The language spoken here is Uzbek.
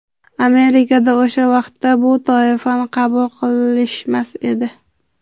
Amerikada o‘sha vaqtda bu toifani qabul qilishmas edi.